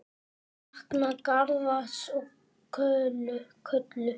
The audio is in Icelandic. Ég sakna Garðars og Köllu.